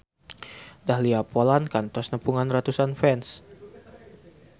Dahlia Poland kantos nepungan ratusan fans